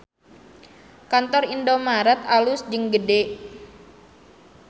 Kantor Indomart alus jeung gede